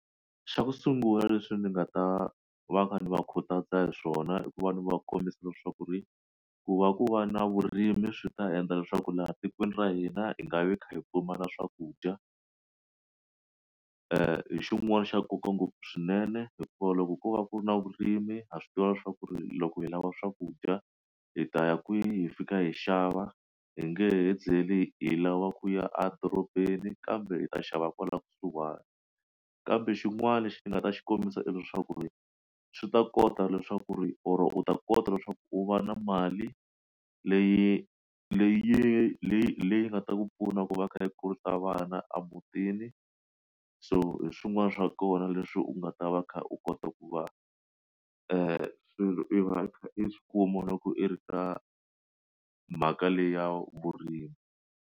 Xa ku sungula leswi ndzi nga ta va ka ni va khutaza hi swona i ku ve ni va kombisa leswaku ri ku va ku va na vurimi swi ta endla leswaku laha tikweni ra hina hi nga vi kha hi pfumala swakudya xin'wana xa nkoka ngopfu swinene hikuva loko ko va ku ri na vurimi a swi tiva leswaku ku ri loko hi lava swakudya hi ta ya kwihi fika hi xava hi nge tlheli hi lava ku ya a dorobeni kambe hi ta xava kwala kusuhana kambe xin'wana lexi ni nga ta xi kombisa ivi leswaku ri swi ta kota leswaku ri or u ta kota leswaku u va na mali leyi leyi leyi leyi nga ta ku pfuna ku va khale yo kurisa vana emutini so hi swin'wana swa kona leswi u nga ta va kha u kota ku va i swilo i kha i swikuma loko i ri ka mhaka leyi ya vurimi.